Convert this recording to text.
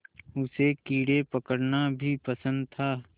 उसे कीड़े पकड़ना भी पसंद था